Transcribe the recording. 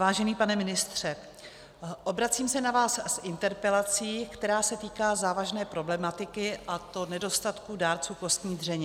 Vážený pane ministře, obracím se na vás s interpelací, která se týká závažné problematiky, a to nedostatku dárců kostní dřeně.